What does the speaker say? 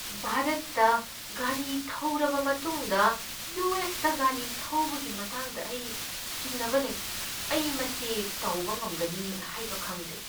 ꯚꯥꯔꯠꯇ ꯒꯥꯔꯤ ꯊꯧꯔꯕ ꯃꯇꯨꯡꯗ ꯌꯨ. ꯑꯦꯁ. ꯇ ꯒꯥꯔꯤ ꯊꯧꯕꯒꯤ ꯃꯇꯥꯡꯗ ꯑꯩ ꯆꯤꯡꯅꯕ ꯂꯩ꯫ ꯑꯩ ꯃꯁꯤ ꯇꯧꯕ ꯉꯝꯒꯅꯤ ꯍꯥꯏꯕ ꯈꯪꯗꯦ꯫